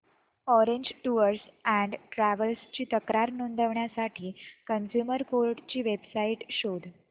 orange tours and travels ची तक्रार नोंदवण्यासाठी कंझ्युमर कोर्ट ची वेब साइट शोध